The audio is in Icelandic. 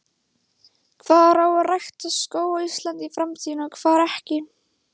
Hvar á að rækta skóg á Íslandi í framtíðinni og hvar ekki?